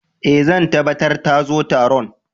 Eh, zan tabatar ta zo Taron.